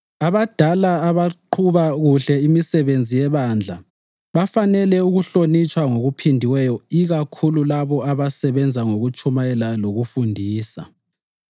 Abadala abaqhuba kuhle imisebenzi yebandla bafanele ukuhlonitshwa okuphindiweyo ikakhulu labo abasebenza ukutshumayela lokufundisa.